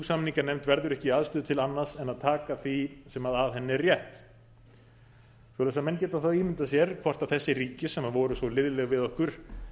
samninganefnd verður ekki í aðstöðu til annars en að taka því sem að henni er rétt svoleiðis að menn geta þá ímyndað sér hvort þessi ríki sem voru svo liðleg við okkur